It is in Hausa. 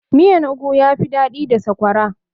Miyan ogu yafi daɗi da sakwara